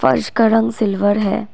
फर्श का रंग सिल्वर है।